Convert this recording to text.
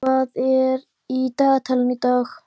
Boghildur, hvað er í dagatalinu í dag?